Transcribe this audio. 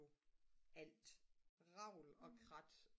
alt revl og krat